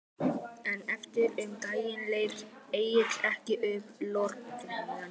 En eftir um daginn lét Egill ekki upp lokrekkjuna.